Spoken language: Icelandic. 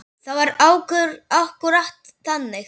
Það var akkúrat þannig.